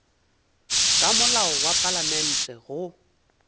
ka molao wa palamente go